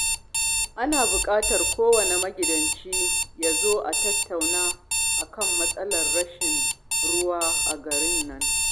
Ana buƙatar kowanne magidanci ya zo a tattauna a kan matsalar rashin ruwa a garin nan